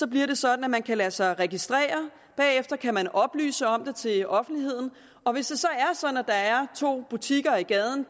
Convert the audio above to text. bliver det sådan at man kan lade sig registrere og bagefter kan man oplyse om det til offentligheden og hvis det så er sådan at der er to butikker i gaden